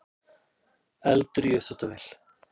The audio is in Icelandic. Eldur í uppþvottavél